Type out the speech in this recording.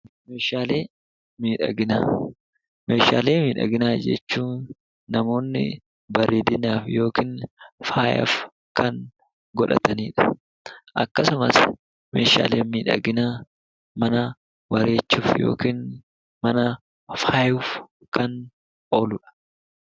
Meeshaalee miidhaginaa Meeshaalee miidhaginaa jechuun namoonni bareedinaaf yookiin faayaaf kan godhatani dha. Akkasumas meeshaaleen miidhaginaa mana bareechuuf yookaan mana faayuuf kan oolu dha.